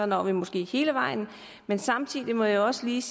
når vi måske hele vejen men samtidig må jeg også lige